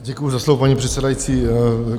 Děkuju za slovo, paní předsedající.